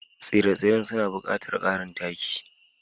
Tsire-tsiren suna buƙatar ƙarin taki.